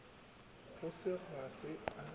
go se ga se a